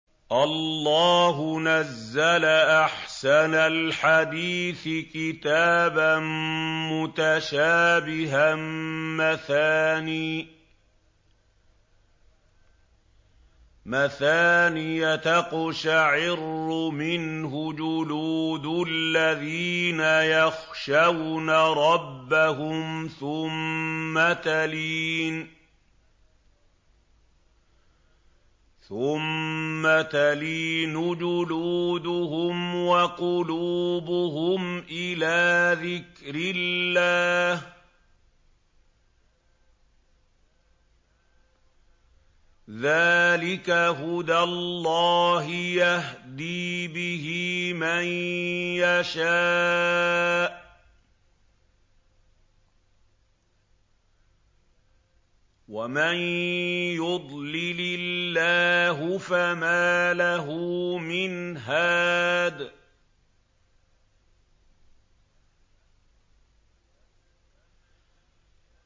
اللَّهُ نَزَّلَ أَحْسَنَ الْحَدِيثِ كِتَابًا مُّتَشَابِهًا مَّثَانِيَ تَقْشَعِرُّ مِنْهُ جُلُودُ الَّذِينَ يَخْشَوْنَ رَبَّهُمْ ثُمَّ تَلِينُ جُلُودُهُمْ وَقُلُوبُهُمْ إِلَىٰ ذِكْرِ اللَّهِ ۚ ذَٰلِكَ هُدَى اللَّهِ يَهْدِي بِهِ مَن يَشَاءُ ۚ وَمَن يُضْلِلِ اللَّهُ فَمَا لَهُ مِنْ هَادٍ